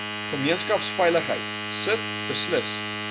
gemeenskapsveiligheid sit beslis